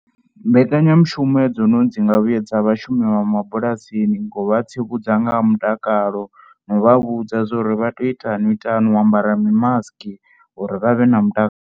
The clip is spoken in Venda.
Mbekanyamushumo hedzinoni dzi nga vhuyedza vhashumi vha mabulasini ngo vha tsivhudza nga ha mutakalo na u vha vhudza zwa uri vha tea u itani miṱanu, u ambara mimasiki uri vha vhe na mutakalo.